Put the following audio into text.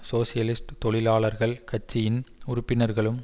socialist தொழிலாளர்கள் கட்சியின் உறுப்பினர்களும்